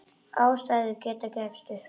Ástæður til að gefast upp?